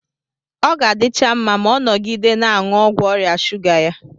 Ọ ga-adịcha mma ma ọ nọgide na-aṅụ ọgwụ ọrịa shuga ya.